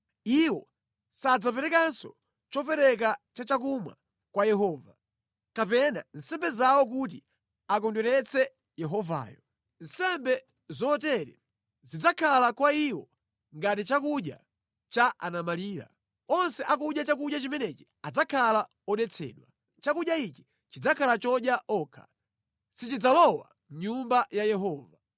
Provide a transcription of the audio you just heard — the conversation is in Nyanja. Iwo sadzaperekanso chopereka cha chakumwa kwa Yehova, kapena nsembe zawo kuti akondweretse Yehovayo. Nsembe zotere zidzakhala kwa iwo ngati chakudya cha anamfedwa; onse akudya chakudya chimenechi adzakhala odetsedwa. Chakudya ichi chidzakhala chodya okha, sichidzalowa mʼnyumba ya Yehova.